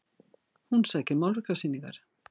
Hún sækir málverkasýningar